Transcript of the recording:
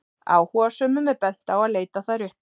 áhugasömum er bent á að leita þær uppi